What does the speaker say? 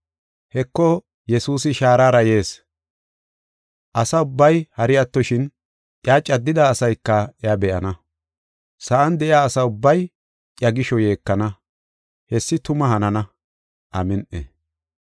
Heko, Yesuusi shaarara yees. Asa ubbay hari attoshin, iya caddida asayka iya be7ana. Sa7an de7iya asa ubbay iya gisho yeekana. Hessi tuma hanana! Amin7i.